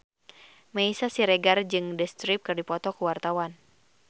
Meisya Siregar jeung The Script keur dipoto ku wartawan